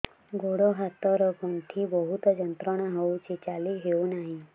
ଗୋଡ଼ ହାତ ର ଗଣ୍ଠି ବହୁତ ଯନ୍ତ୍ରଣା ହଉଛି ଚାଲି ହଉନାହିଁ